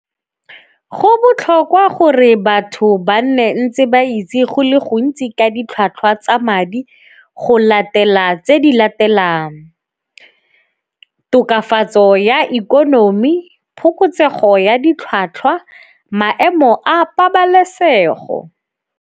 Go botlhokwa gore batho ba nne ntse ba itse go le gontsi ka ditlhwatlhwa tsa madi go latela tse di latelang tokafatso ya ikonomi, phokotsego ya ditlhwatlhwa, maemo a pabalesego.